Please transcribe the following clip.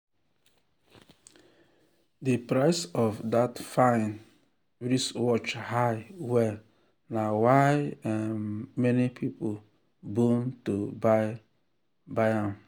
the price of that fine wristwatch high well na why um many people bone to buy buy am.